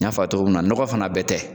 N ya fɔ a ye cogo min na n nɔgɔ fana bɛɛ tɛ.